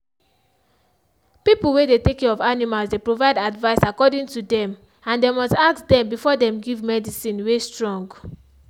people way they take care of animals dey provide advice according to dem and dem must ask dem before dem give medicine way strong.